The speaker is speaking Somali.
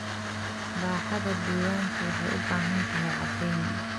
Baaxadda diiwaanku waxay u baahan tahay caddayn.